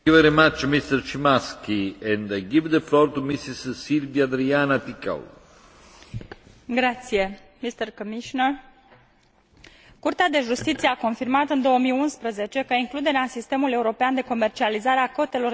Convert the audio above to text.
Curtea de Justiție a confirmat, în 2011, că includerea în sistemul european de comercializare a cotelor de emisie provenite de la nave din țări terțe care pleacă de pe aeroporturile din Uniune sau care sosesc aici este admisibilă din punct de vedere legal.